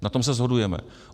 Na tom se shodujeme.